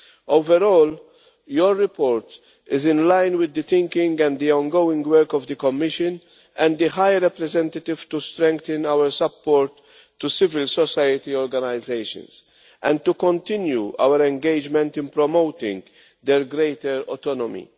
Overall, your report is in line with the thinking and the ongoing work of the Commission and the High Representative to strengthen our support to civil society organisations and to continue our engagement in promoting their greater autonomy.